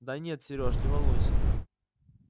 да нет сережа не волнуйся